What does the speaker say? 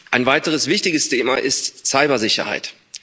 Ein weiteres wichtiges Thema ist Cybersicherheit.